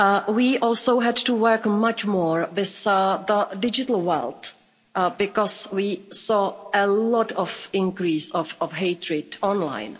We also had to work much more with the digital world because we saw a lot of increase of hatred online.